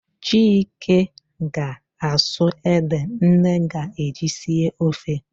Chike ga-asụ ede nne ga-eji sie ofe